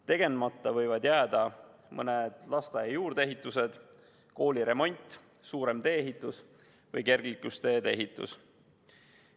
Tegemata võivad jääda lasteaia juurdeehitus, kooli remont, suurem tee-ehitus või kergliiklustee ehitus.